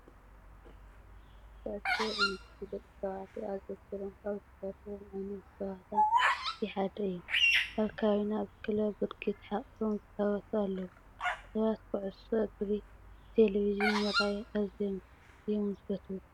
ኩዕሶ እንግሪ ደቂ ተባዕትዮ ኣዘውቲሮም ካብ ዝፃወትዎም ዓይነት ፅዋታ እቲ ሓደ እዩ። ኣብ ከባቢና ብክለብ ብርኪ ተሓቒፎም ዝፃወቱ ኣለው። ሰባት ኩዕሶ እግሪ በቴሌቭዥን ምርኣይ ኣዝዮም እዮም ዝፈትዉ።